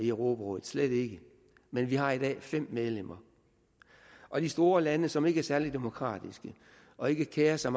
europarådet slet ikke men vi har i dag fem medlemmer og de store lande som ikke er særlig demokratiske og ikke kerer sig